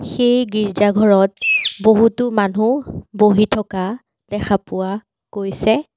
সেই গীৰ্জা ঘৰত বহুতো মানু্হ বহি থকা দেখা পোৱা গৈছে।